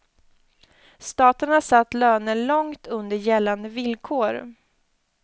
Staten har satt löner långt under gällande villkor.